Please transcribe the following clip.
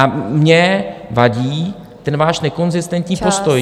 A mně vadí ten váš nekonzistentní postoj.